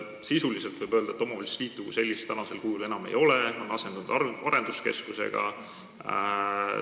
Sisuliselt võib öelda, et omavalitsusliitu kui sellist enam ei ole, see on asendunud arenduskeskusega.